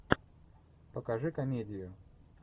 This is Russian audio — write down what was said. покажи комедию